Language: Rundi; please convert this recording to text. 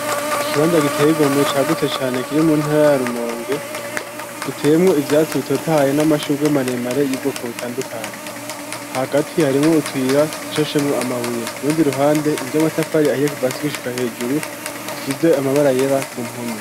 Ikibanza giteye igomwe cagutse cane kiri mu ntara ya Rumonge giteyemwo ivyatsi bitotahaye n'amashurwe maremare y'ubwoko butandukanye. Hagati harimwo utuyira dushashemwo amabuye. Urundi ruhande, inzu y'amatafari ahiye kiva hasi gushika hejuru isize amabara yera ku mpome.